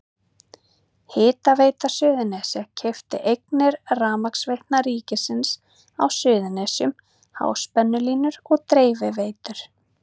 Hitaveita Suðurnesja keypti eignir Rafmagnsveitna ríkisins á Suðurnesjum, háspennulínur og dreifiveitur.